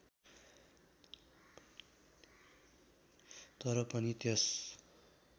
तर पनि त्यस